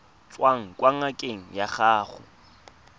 tswang kwa ngakeng ya gago